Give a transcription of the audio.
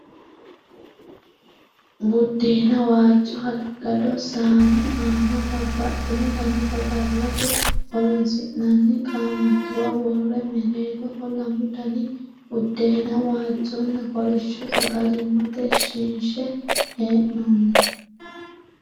Buddeena waajjo hala'lado saane aana babbaxino Dani saggallate horoonsi'nanni qaamattuwa worre mereeroho lamu Dani buddeena waajjonna kolishsho sagalimmate shinshe hee'noonni.